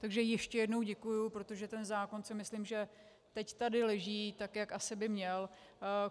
Takže ještě jednou děkuji, protože ten zákon si myslím, že teď tady leží tak, jak asi by měl.